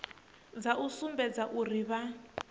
dza u sumbedza uri vha